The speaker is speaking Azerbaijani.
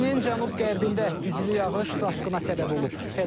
Çinin cənub-qərbində güclü yağış daşqına səbəb olub.